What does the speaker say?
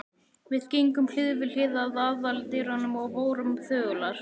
Við gengum hlið við hlið að aðaldyrunum og vorum þögular.